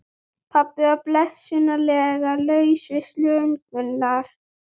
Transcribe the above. Pabbi var blessunarlega laus við slöngurnar.